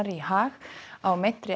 í Haag á meintri